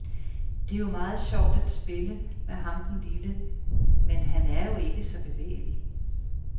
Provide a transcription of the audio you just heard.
Det er jo meget sjovt at spille med ham den lille, men han er jo ikke så bevægelig.